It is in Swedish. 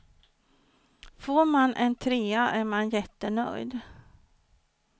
Får man en trea är man jättenöjd.